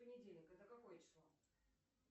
понедельник это какое число